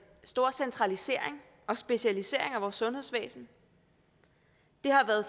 stor centralisering og specialisering af vores sundhedsvæsen